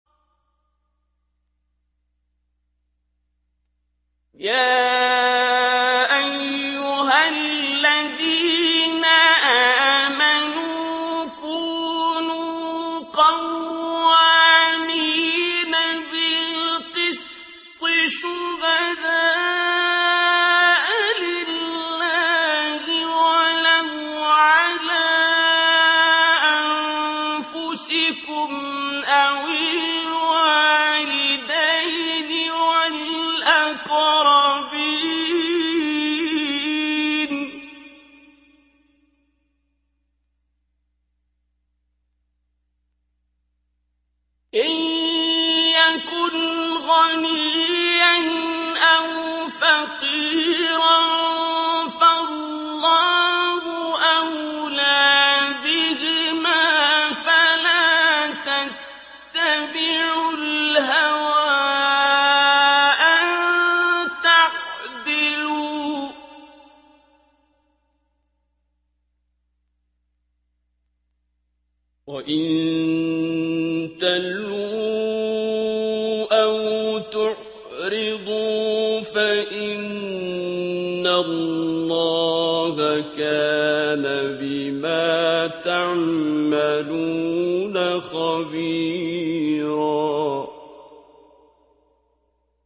۞ يَا أَيُّهَا الَّذِينَ آمَنُوا كُونُوا قَوَّامِينَ بِالْقِسْطِ شُهَدَاءَ لِلَّهِ وَلَوْ عَلَىٰ أَنفُسِكُمْ أَوِ الْوَالِدَيْنِ وَالْأَقْرَبِينَ ۚ إِن يَكُنْ غَنِيًّا أَوْ فَقِيرًا فَاللَّهُ أَوْلَىٰ بِهِمَا ۖ فَلَا تَتَّبِعُوا الْهَوَىٰ أَن تَعْدِلُوا ۚ وَإِن تَلْوُوا أَوْ تُعْرِضُوا فَإِنَّ اللَّهَ كَانَ بِمَا تَعْمَلُونَ خَبِيرًا